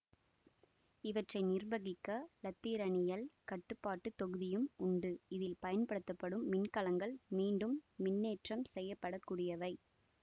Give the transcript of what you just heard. இவற்றை நிர்வகிக்க இலத்திரனியல் கட்டுப்பாட்டு தொகுதியும் உண்டு இதில் பயன்படுத்தப்படும் மின்கலங்கள் மீண்டும் மின்னேற்றம் செய்யப்படக்கூடிவை